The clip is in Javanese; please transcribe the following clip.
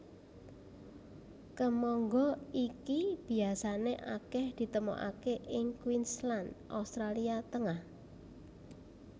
Kemangga iki biasané akèh ditemokaké ing Queensland Australia Tengah